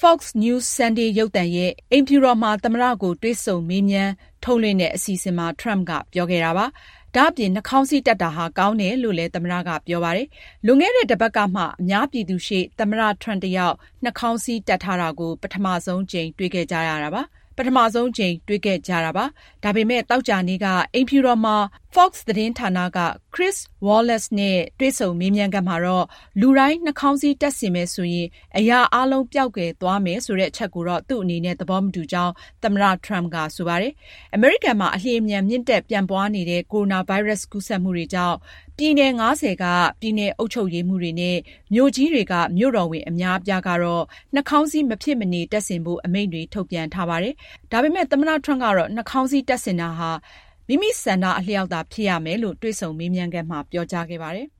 Fox News Sunday ရုပ်သံရဲ့ အိမ်ဖြူတော်မှာ သမ္မတကို တွေ့ဆုံမေးမြန်းထုတ်လွှင့်တဲ့ အစီအစဉ်မှာ Trump က ပြောခဲ့တာပါ။ ဒါ့အပြင် နှာခေါင်းစည်းတပ်တာဟာ ကောင်းတယ်လို့လည်း သမ္မတက ပြောခဲ့ပါတယ်။ လွန်ခဲ့တဲ့တပတ်ကမှ အများပြည်သူရှေ့ သမ္မတ Trump တယောက် နှာခေါင်းစည်း တပ်ထားတာကို ပထမဆုံးအကြိမ် တွေ့ခဲ့ကြရတာပါ။ ဒါပေမယ့် သောကြာနေ့က အိမ်ဖြူတော်မှာ Fox သတင်းဌာနက Chris Wallace နဲ့ တွေ့ဆုံမေးမြန်းခန်းမှာတော့ လူတိုင်း နှာခေါင်းစည်း တပ်ဆင်မယ်ဆိုရင် အရာအားလုံး ပျောက်ကွယ်သွားမယ်ဆိုတဲ့ အချက်ကိုတော့ သူ့အနေနဲ့ သဘောမတူကြောင်း သမ္မတ Trump က ဆိုပါတယ်။ အမေရိကန်မှာ အလျှင်အမြန် မြင့်တက်ပြန့်ပွားလာနေတဲ့ ကိုရိုနာဗိုင်းရပ်စ် ကူးစက်မှုတွေကြောင့် ပြည်နယ် ၅၀ က ပြည်နယ်အုပ်ချုပ်ရေးမှူးတွေနဲ့ မြို့ကြီးတွေက မြို့တော်ဝန် အများအပြားကတော့ နှာခေါင်းစည်း မဖြစ်မနေ တပ်ဆင်ဖို့ အမိန့်တွေ ထုတ်ပြန်ထားပါတယ်။ ဒါပေမယ့် သမ္မတ Trump ကတော့ နှာခေါင်းစည်းတပ်ဆင်တာဟာ မိမိဆန္ဒအလျောက်သာ ဖြစ်ရမယ်လို့ တွေ့ဆုံမေးမြန်းခန်းမှာ ပြောကြားခဲ့ပါတယ်။